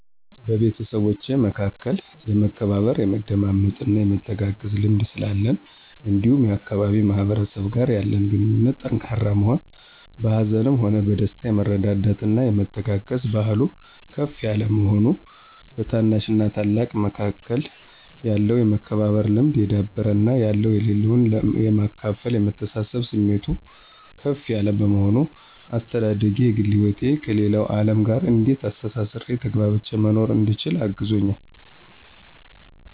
በቤተሰቦቼ መካከል የመከባበር፣ የመደማመጥና የመተጋገዝ ልምድ ስላለን እንዲሁም የአካባቢው ማህበረሰብ ጋር ያለን ግንኙነት ጠንካራ መሆን፤ በሀዘንም ሆነ በደስታ የመረዳዳትና የመተጋገዝ ባህሉ ከፍ የለ መሆኑ፤ በታናሽና ታላቅ መካከል ያለው የመከባበር ልምድ የዳበረ እና ያለው ለሌለው የማካፈልና የመተሳሰብብ ስሜቱ ከፍ ያለ በመሆኑ፤ አስተዳደጌ የግል ህይወቴን ከሌለው አለም ጋር እንዴት አስተሳስሬና ተግባብቼ መኖር እንድችል አግዞኛል